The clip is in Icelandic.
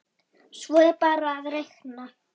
Svo er bara að reikna.